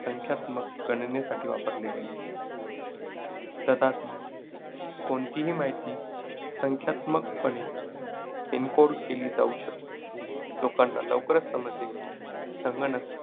संख्यात्मक गणनेसाठी वापरले गेले. तथापि, कोणतीही माहिती संख्यात्मकपणे encode केली जाऊ शकते, लोकांना लवकरच समजले की संगणक